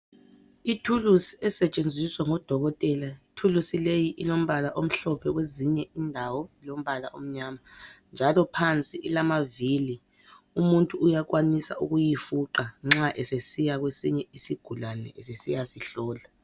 Ithulusi esetshenziswa ngodokotela. Ithulusi leyi ilombala omhlophe kwezinye indawo ilombala omnyama njalo phansi ilamavili, umuntu uyakwanisa ukuyifuqa nxa esiya kwesinye isigulane esesiya sihlola.